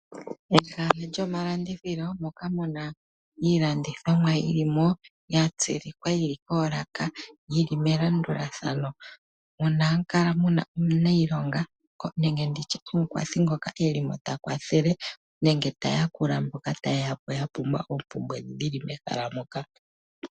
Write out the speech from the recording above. Ehala lyomalandithilo moka muna iilandithomwa yilimo yatsilikwa yili koolaka yili melandulathano mono hamukala muna omunayilongo nenge nditye omukwathi ngoka elimo takwathele neke taya kula mboka ya pumbwa oompumbwe dhili mehala moka.